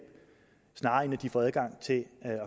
snarere end at de får adgang til at